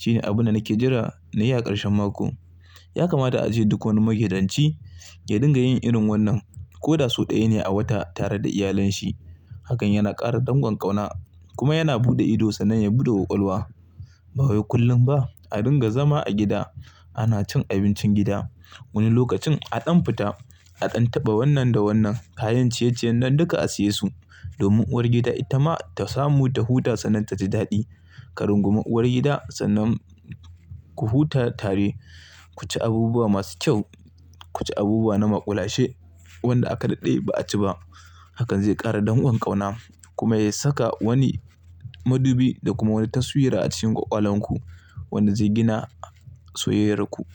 Shine abun da nake jira na yi a ƙarshen mako. Ya kamata a je duk wani magidanci ya dinga yin irin wannan ko da sau ɗaya ne a wata tare da iyalanshi. Hakan yana ƙara danƙon ƙauna kuma yana buɗe ido sannan ya buɗe ƙwaƙwalwa. Ba kullum ba a dinga zama a gida ana cin abincin gida. Wani lokacin a ɗan fita, a ɗan taɓa wannan da wannan. Kayan ciye-ciyen nan duka a siya su domin uwar gida ita ma ta samu ta huta sannan ta ji daɗi. Ka rungumi uwar gida sannan ku huta tare, ku ci abubuwa masu kyau, ku ci abubuwa na maƙulashe wanda aka daɗe ba a ci ba. Hakan zai ƙara danƙon ƙauna kuma ya saka wani madubi da kuma wani taswira a cikin ƙwaƙwalanku wanda zai gina soyayyarku.